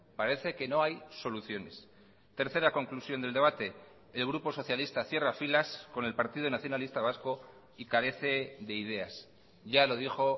parece que no hay soluciones tercera conclusión del debate el grupo socialista cierra filas con el partido nacionalista vasco y carece de ideas ya lo dijo